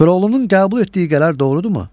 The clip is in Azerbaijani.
Koroğlunun qəbul etdiyi qərar doğrudurmu?